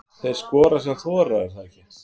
Þeir skora sem þora, er það ekki?